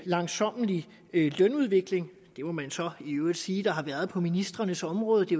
langsommelig lønudvikling det må man så i øvrigt sige at der har været på ministrenes område det